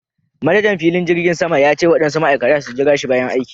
Manajan filin jirgin sama ya ce waɗansu Ma'aikata su jirashi bayan aiki.